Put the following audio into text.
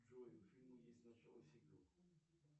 джой у фильма есть начало сиквел